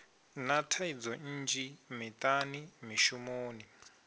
na thaidzo nnzhi miṱani mishumoni